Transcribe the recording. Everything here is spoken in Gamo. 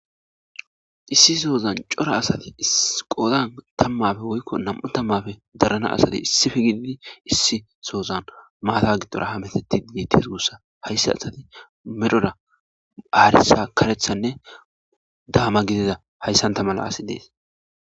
issi soozan cora asati iqoodan tammafe woykko nam7u tammafe darana asadi issife gididi issi soozan maata gidora hametetti miities guussa hayssa asati medhora phaarisa karethanne daama gidida hayssanta mala asi dees